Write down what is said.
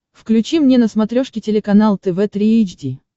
включи мне на смотрешке телеканал тв три эйч ди